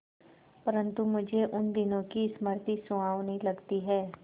परंतु मुझे उन दिनों की स्मृति सुहावनी लगती है